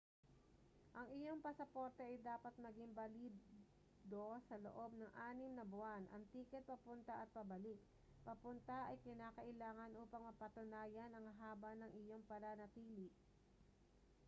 ang iyong pasaporte ay dapat maging balido sa loob ng 6 na buwan. ang tiket papunta at pabalik/papunta ay kinakailangan upang mapatunayan ang haba ng iyong pananatili